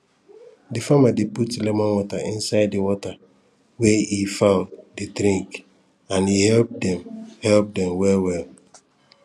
the farmer dey put lemon water inside the water wey e fowl dey drink and e help dem e help dem well well